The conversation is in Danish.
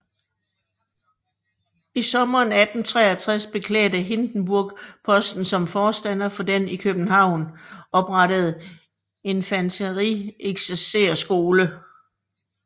I sommeren 1863 beklædte Hindenburg posten som forstander for den i København oprettede infanterieksercerskole